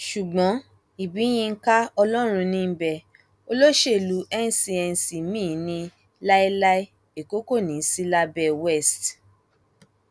ṣùgbọn ibiyinka ọlọrunníḿbẹ olóṣèlú n cnc míín ní láéláé èkó kò ní í sí lábẹ west